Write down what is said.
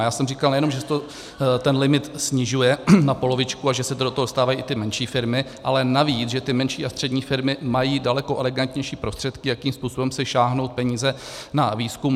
A já jsem říkal, nejenom že se ten limit snižuje na polovičku a že se do toho dostávají i ty menší firmy, ale navíc, že ty menší a střední firmy mají daleko elegantnější prostředky, jakým způsobem si stáhnout peníze na výzkum.